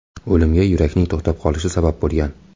O‘limga yurakning to‘xtab qolishi sabab bo‘lgan.